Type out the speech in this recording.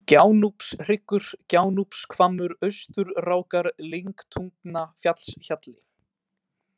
Gjánúpshryggur, Gjánúpshvammur, Austurrákar, Lyngtungnafjallshjalli